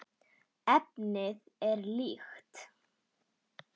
Efnið er líkt.